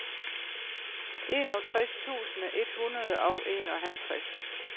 enogtres tusind et hundrede og enoghalvtreds